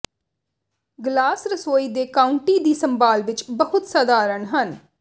glass ਰਸੋਈ ਦੇ counter ਦੀ ਸੰਭਾਲ ਵਿਚ ਬਹੁਤ ਸਾਧਾਰਣ ਹਨ